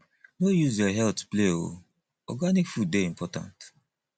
no use your healt play o organic food dey important